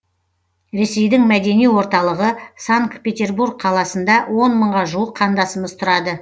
ресейдің мәдени орталығы санкт петербург қаласында он мыңға жуық қандасымыз тұрады